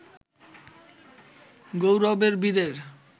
গৌরবের বীরের